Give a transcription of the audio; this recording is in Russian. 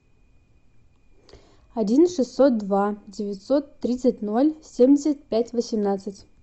один шестьсот два девятьсот тридцать ноль семьдесят пять восемнадцать